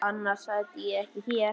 Annars sæti ég ekki hér.